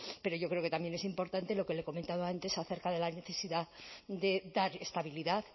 pero yo creo que también es importante lo que le he comentado antes acerca de la necesidad de dar estabilidad